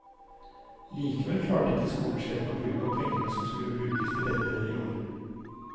Likevel klarer ikke skolesjefen å bruke opp pengene som skulle brukes til dette i år.